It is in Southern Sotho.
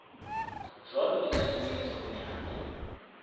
jwalo di tla kenyeletsa bonyane